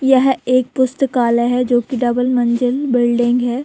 यह एक पुस्तकालय है जोकि डबल मंजिल बिल्डिंग है।